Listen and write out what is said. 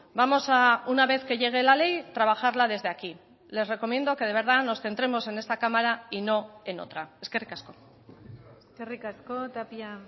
vamos a una vez que llegue la ley trabajarla desde aquí les recomiendo que de verdad nos centremos en esta cámara y no en otra eskerrik asko eskerrik asko tapia